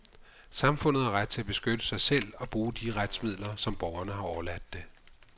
Samfundet har ret til at beskytte sig selv og bruge de retsmidler, som borgerne har overladt det.